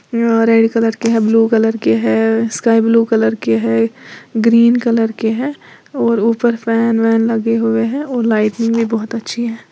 Orange colour के है blue colour के है स्काई ब्लू कलर की है ग्रीन कलर के हैं और ऊपर फैन वैन भी लगे हुए हैं और लाइट में भी बहुत अच्छी है।